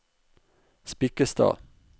Spikkestad